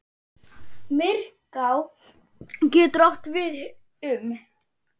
Myrká getur átt við um